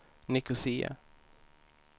Nicosia